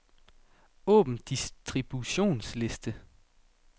Åbn distributionsliste.